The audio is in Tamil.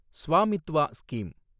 ஸ்வாமித்வா ஸ்கீம்